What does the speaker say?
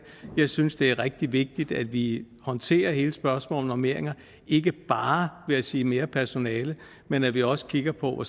jeg synes det er rigtig vigtigt at vi håndterer hele spørgsmålet om normeringer og ikke bare ved at sige mere personale men at vi også kigger på hvor